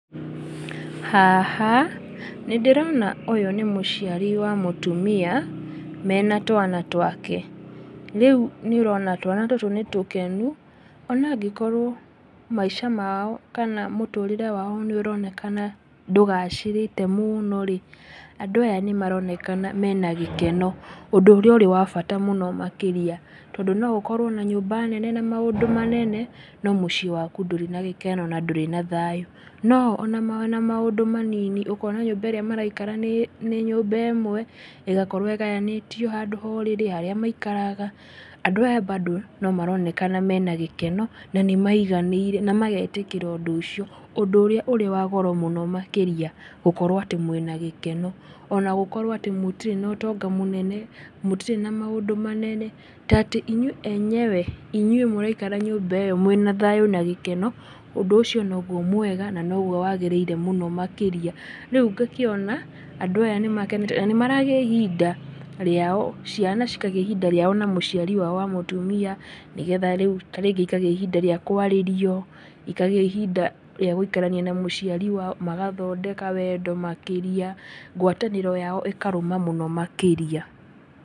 Haha, nĩ ndĩrona ũyũ nĩ mũciari wa mũtumia, mena twana twake. Rĩu nĩ ũrona twana tũtũ nĩ tũkenu ona angĩkorwo maica mao kana mũtũrĩre wao nĩ ũronekana ndũgacĩrĩte mũno rĩ, andũ aya nĩ maronekana mena gĩkeno, ũndũ ũrĩa ũrĩ wa bata mũno makĩria. Tondũ no ũkorwo na nyũmba nene na maũndũ manene, no muciĩ waku ndũrĩ na gĩkeno na ndũrĩ na thayũ. No o ona me na maũndũ manini, ũkona nyũmba ĩrĩa maraikara nĩ nyũmba ĩmwe, ĩgakorwo ĩgayanĩtio handũ ha ũrĩrĩ, harĩa maikaraga, andũ aya mbando no maronekana mena gĩkeno na maiganĩirw, na magetĩkĩra ũndũ ũcio, ũndũ ũrĩa wĩ wa goro mũno makĩria; gũkorwo atĩ mwĩ na gĩkeno. Ona gũkorwo atĩ mũtirĩ na ũtonga mũnene, mũtirĩ na maũndũ manene, ta atĩ inyuĩ enyewe, inyuĩ mũraikara nyũmba ĩyo mwĩ na thayũ na gĩkeno, ũndũ ũcio noguo mwega, na nogwo wagĩrĩire mũno makĩria. Rĩu ngakĩona, andũ aya nĩmakenete, na nĩ maragĩa ihinda rĩao, ciana cikagĩa ihinda rĩao na mũciari wa mũtumia nĩ getha rĩu ta rĩngĩ ikagĩa ihinda rĩa kwarĩrio, ikagĩa ihinda rĩa gũikarania na mũciari wao, magathondeka wendo makĩria, ngwatanĩro yao ĩkarũma mũno makĩria.